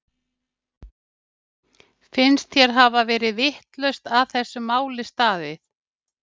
Finnst þér hafa verið vitlaust að þessu máli staðið?